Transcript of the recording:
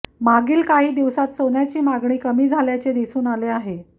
मागील काही दिवसांत सोन्याची मागणी कमी झाल्याचे दिसून आले आहे